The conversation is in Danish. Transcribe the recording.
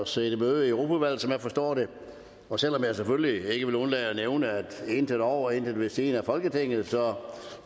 siddet i møde i europaudvalget sådan som jeg forstår det og selv om jeg selvfølgelig ikke vil undlade at nævne intet over og intet ved siden af folketinget